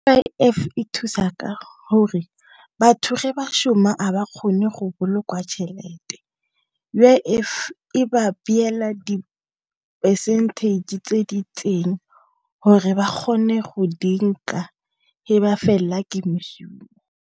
U_I_F e thusa ka gore batho ge ba shoma a ba kgone go bolokwa tšhelete, U_I_F e ba beela di-percentage tse di itseng gore ba kgone go dinka e ba fela ke mešomo.